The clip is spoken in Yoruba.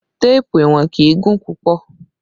Téèpù ìwọ̀n kì í gùn púpọ̀